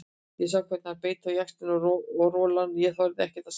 Ég sá hvernig hann beit á jaxlinn og rolan ég þorði ekkert að segja.